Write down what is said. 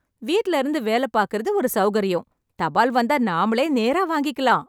வீட்ல இருந்து வேலை பாக்கிறது ஒரு சௌகர்யம், தபால் வந்தா நாமளே நேரா வாங்கிக்கலாம்.